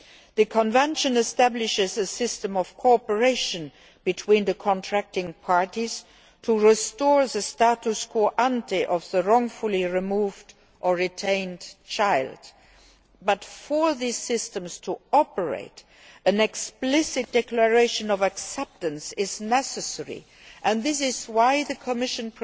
The Convention establishes a system of cooperation between the contracting parties to restore the status quo ante of the wrongfully removed or retained child, but for these systems to operate an explicit declaration of acceptance is necessary and this is why the Commission